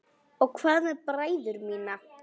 Og hvað með bræður mína?